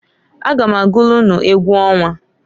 A ga m agụlụ unu egwu ọnwa.